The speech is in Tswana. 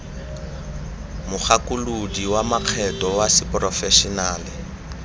mogakolodi wa makgetho wa seporofešenale